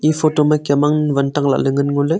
photo ma kem mang van tak lahley ngan ngo ley.